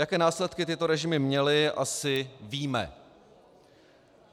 Jaké následky tyto režimy měly, asi víme.